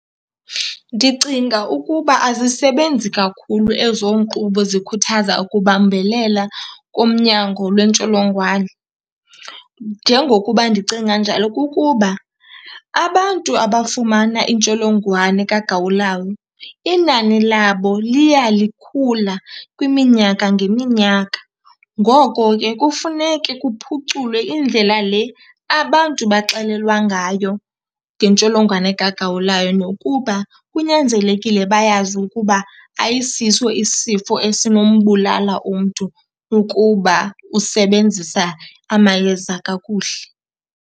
Ndicinga ukuba azisebenzi kakhulu ezo nkqubo zikhuthaza ukubambelela kumnyango lwentsholongwane. Njengokuba ndicinga njalo kukuba abantu abafumana intsholongwane kagawulayo inani labo liya likhula kwiminyaka ngeminyaka. Ngoko ke kufuneke kuphuculwe indlela le abantu baxelelwa ngayo ngentsholongwane kagawulayo nokuba kunyanzelekile bayazi ukuba ayisiso isifo esinombulala umntu ukuba usebenzisa amayeza kakuhle.